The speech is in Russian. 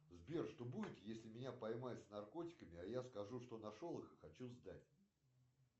сбер что будет если меня поймают с наркотиками а я скажу что нашел их и хочу сдать